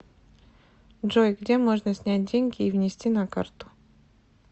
джой где можно снять деньги и внести на карту